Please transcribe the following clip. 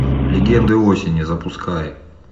легенды осени запускай